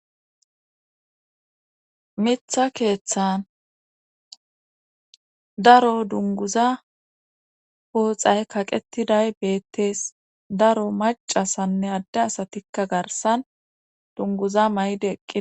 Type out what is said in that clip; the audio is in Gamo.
Mitha keeththan daro dunguza pooxay kaqettiday beettees daro macasanne adde asatikka garsan dunguza may'de eqqi.